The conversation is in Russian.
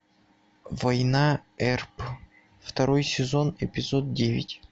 война эрп второй сезон эпизод девять